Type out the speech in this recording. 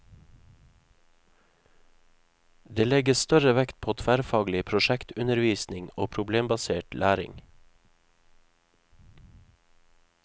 Det legges større vekt på tverrfaglig prosjektundervisning og problembasert læring.